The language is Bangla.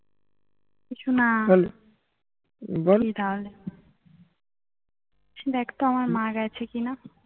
কিছু না দেখ তো আমার মা গেছে কি না